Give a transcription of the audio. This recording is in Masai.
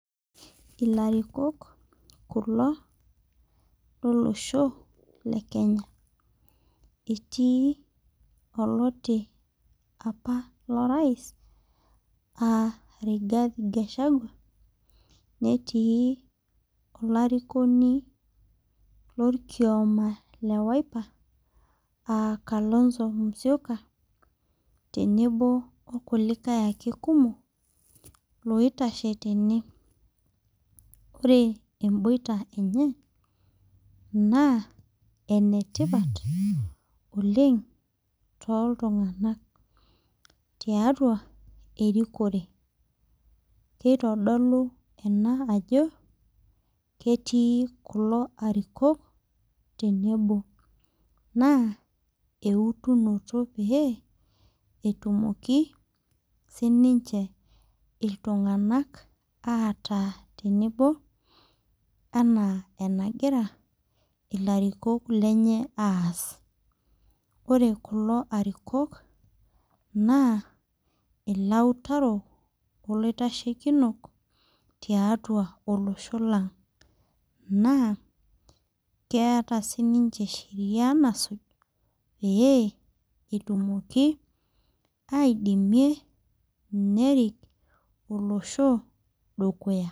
Ilarikok kulo lolosho le kenya etii oloti apa lorais a Rigathi gachagua netii olarikoni lorkioma le wiper aa Kalonzo musyoka tenebo kulikae ake kumok loitashe tene ore emboita enye naa enetipat oleng toltung'anak tiatua erikore keitodolu ena ajo ketii kulo arikok tenebo naa eutunoto pee etumoki sininche iltung'anak ataa tenebo enaa enagira ilarikok lenye aas ore kulo arikok naa ilautarok olaitashekinok tiatua olosho lang naa keeta sininche sheria nasuj pee etumoki aidimie nerik olosho dukuya.